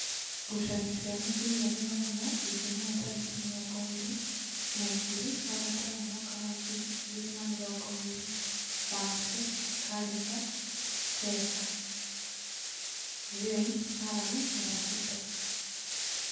Ngucanio cia mũbira Ruraya Ijumaa tarĩki mĩrongo ĩrĩ na igĩrĩ wa gatano mwaka wa ngiri igĩrĩ na mĩrongo ĩrĩ: Wamĩtĩ, Kalimba, Keba, Have, Njane, Harani, Rabito